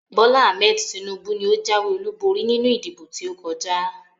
Bola Ahmed Tinubu ni ó jáwé olúborí nínú ìdìbò tí ó kọjá